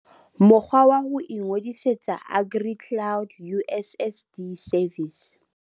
Mokgwa wa ho ingodisetsa AgriCloud USSD service